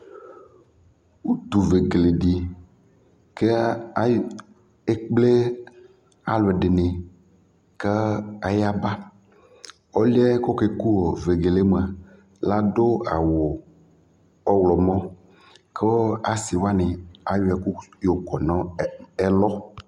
utuvegele dɩ ekple alʊɛdɩnɩ kʊ ayaba, ɔlʊ yɛ kʊ okeku vegele yɛ mua, adʊ awu ɔwlɔmɔ, kʊ asiwanɩ ayɔ ɛkʊ yɔ wu nʊ ɛlʊ